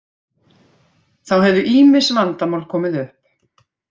Þá hefðu ýmis vandamál komið upp